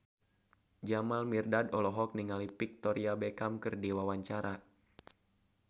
Jamal Mirdad olohok ningali Victoria Beckham keur diwawancara